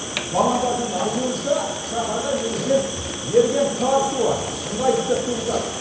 мамандардың айтуынша шаһарға негізінен еріген қар суы ыңғайсыздық туғызады